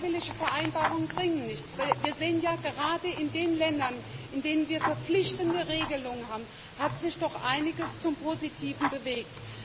Freiwillige Vereinbarungen bringen nichts, weil wir sehen ja Gerade in den Ländern, in denen wir verpflichtende Regelungen haben, hat sich doch einiges zum Positiven bewegt.